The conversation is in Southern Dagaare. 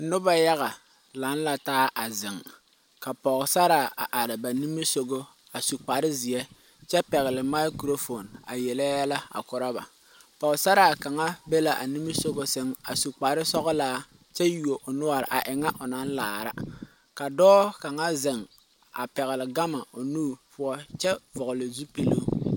Noba yaga laŋ la taa a zeŋ ka pɔgesaraa a are ba nimisoga a su kparezeɛ kyɛ pɛgle microphone a yelle yɛlɛ a korɔ ba pɔgesaraa kaŋ be la a nimisoga sɛŋ a su kparesɔglaa kyɛ yuo o noɔre a ŋa o naŋ laara ka dɔɔ kaŋa zeŋ a pɛgle gama o nuure poɔ kyɛ a vɔgle zupili.